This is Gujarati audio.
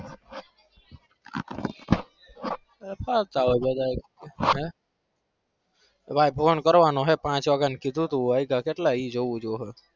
તમાર phone કરવાનો હે પાંચ વાગે નું કીધું તું વાઈગા કેટલા ઈ જોવું છું હવે.